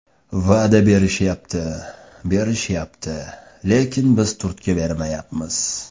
Va’da berishyapti, berishyapti... lekin biz turtki bermayapmiz.